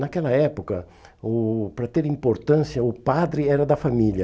Naquela época, o para ter importância, o padre era da família.